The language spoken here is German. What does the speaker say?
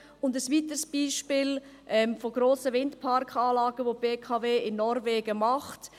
Ein weiteres Beispiel von grossen Windparkanlagen, die die BKW in Norwegen macht: